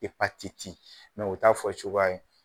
o t'a fɔ cogoya ye.